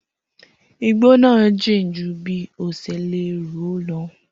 Igbó náà jìn jù bi ọ ṣe lérò lọ